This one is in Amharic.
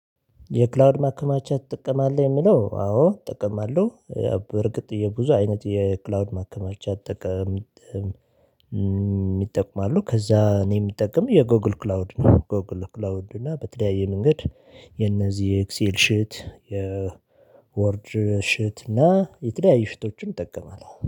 የክላውድ ማከማቻት ትጠቀማለህ? የሚለው አዎ እለውጣለሁ እርግጥ የብዙ አይነት የክላውድ ማከማቻት አጠቃላይ። ይጠቅማሉ ከዛ እኔ የምጠቀመው የጎግል ክላውድ ነው። ጎግል ክላውድ እና በተለያየ መንገድ የነዚህ ኤክሴል ሽት የወርድ ሽት እና የተለያዩ ሽቶችን እጠቀማለሁ